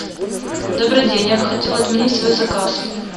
добрый день я бы хотела отменить свой заказ